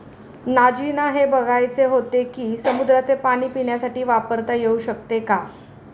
नाजीना हे बघायचे होते की, समुद्राचे पाणी पिण्यासाठी वापरता येऊ शकते का?